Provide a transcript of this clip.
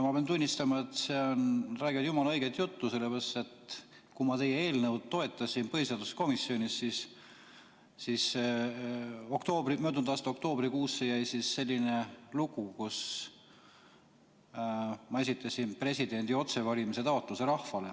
Ma pean tunnistama, et nad räägivad jumala õiget juttu, sellepärast et kui ma teie eelnõu põhiseaduskomisjonis toetasin, siis möödunud aasta oktoobrikuusse jäi selline lugu, et ma esitasin presidendi otsevalimise taotluse.